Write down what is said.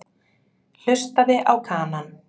Hlustaði á Kanann.